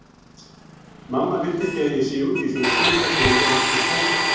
Mamma vill ekki að ég sé úti í svona kulda því ég er svo kvefsækinn